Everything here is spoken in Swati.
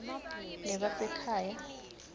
nebasekhaya